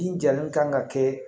Bin jalen kan ka kɛ